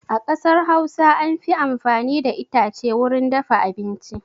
A ƙasar Hausa an fi amfani da itace wurin dafa abinci.